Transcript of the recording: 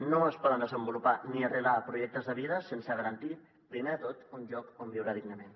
no es poden desenvolupar ni arrelar projectes de vida sense garantir primer de tot un lloc on viure dignament